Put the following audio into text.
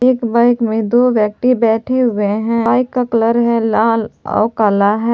एक बाइक में दो व्यक्ति बैठे हुए हैं बाइक का कलर है लाल और काला है।